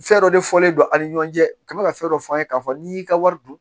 Fɛn dɔ de fɔlen don a ni ɲɔgɔn cɛ ka mɛ ka fɛn dɔ f'an ye k'a fɔ n'i y'i ka wari dun